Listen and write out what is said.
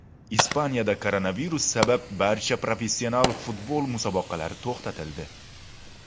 Ispaniyada koronavirus sabab barcha professional futbol musobaqalari to‘xtatildi.